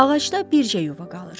Ağacda bircə yuva qalır.